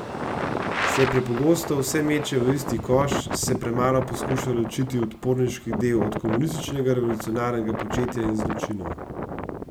Se prepogosto vse meče v isti koš, se premalo poskuša ločiti odporniški del od komunističnega revolucionarnega početja in zločinov?